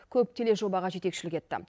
көп тележобаға жетекшілік етті